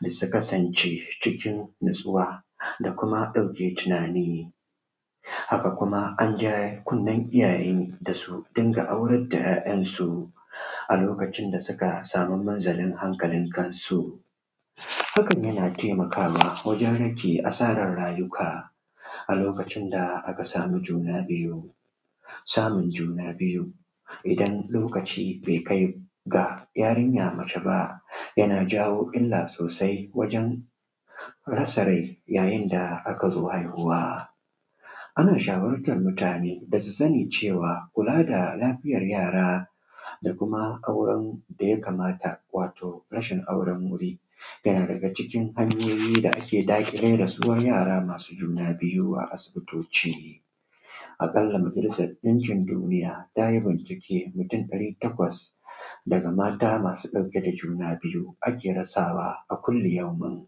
da su kasance cikin natsuwa da kuma ɗauke tunani haka kuma an ja kunnin iyaye da su dinga aurar da ‘ya’yan su a lokacin da suka sama munzalin hankalin kansu hakan na taimakawa wajen rage asarar rayuka a lokacin da aka samu juna biyu samun juna biyu idan lokaci bai kai ga yarinya mace ba yana jawo illa sosai wajen rasa rai yayin da aka zo haihuwa ana shawurtan mutane da su sani cewa kula da lafiyar yara da kuma auran da ya kamata wato rashin auren wuri yana daga cikin hanyoyi da ake daƙile da su yara masu juna biyu a asibitoci a ƙalla majalisan ɗinkin duniya ta yi bincike mutun ɗari takwas daga mata masu ɗauke da juna biyu ake rasawa a kullu yaumun